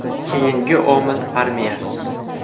Keyingi omil – armiya.